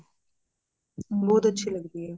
ਬਹੁਤ ਅੱਛੀ ਲੱਗਦੀ ਹੈ